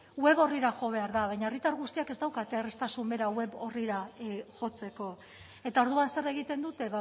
web orrira jo behar da baina herritar guztiek ez daukate erraztasun bera web orrira jotzeko eta orduan zer egiten dute